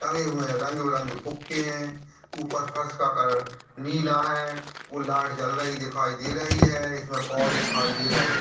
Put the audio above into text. लगे हुए हैं रंग बिरंगे फुगे हैं ऊपर फर्श का कलर नीला है वो लाइट जलती दिखाई दे रही है इसमें पोल्स दिखाई दे रहें हैं।